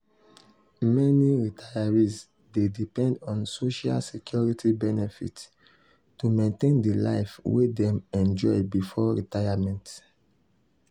meni retirees dey depend on social security benefits to maintain di life wey dem enjoy before retirement.